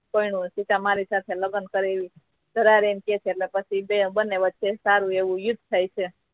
પણ સીતા મારી સાથે લગ્ન કરે ધરાહાર એમ કહે છે એટલે પછી બન્ને વચ્ચે સારુ એવુ યુદ્ધ થાય છે